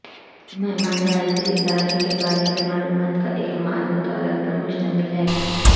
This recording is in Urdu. مہمان جائزے ادارے کے بارے میں معلومات کا ایک مال و دولت پر مشتمل ہے